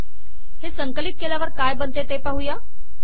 हे संकलित केल्यावर काय बनते ते पाहू